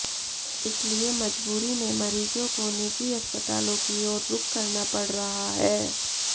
इसलिए मजबूरी में मरीजों को निजी अस्पतालों की ओर रुख करना पड़ रहा है